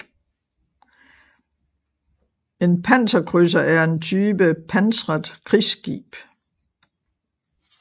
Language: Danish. En panserkrydser er en type pansret krigsskib